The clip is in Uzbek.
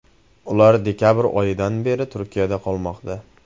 Ular dekabr oyidan beri Turkiyada qolmoqda.